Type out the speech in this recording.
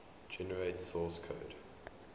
generate source code